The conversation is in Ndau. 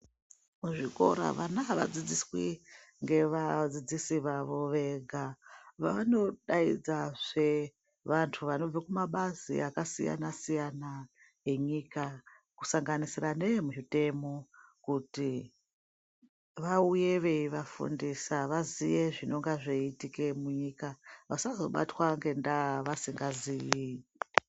Muzvikora vana havadzidziswi ngevadzidzisi vavo wega. Vanodaidzazve vantu vanobve kumabazi akasiyana-siyana enyika. Kusanganisira neemuzvitemo kuti vauye veivafundisa vaziye zvinenge zveiitika munyika vasazobatwa ngendaa vasingazii.